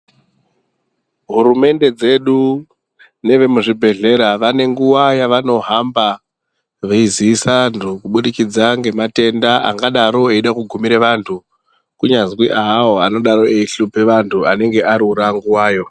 Hurumende dzedu nevemuzvibhedhlera, vanenguwa yavanohamba veyi ziisa vantu ,kubudikidza ngematenda akadaro eyida kugumira vantu, kunyazwi awawo anodaro eyi hlupa vantu, anenge arura nguwayo.